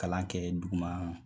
Kalan kɛ duguma